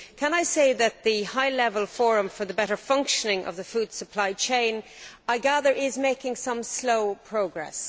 I gather that the high level forum for the better functioning of the food supply chain is making some slow progress.